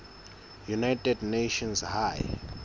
united nations high